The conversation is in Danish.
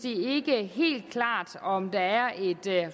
helt klart om der er et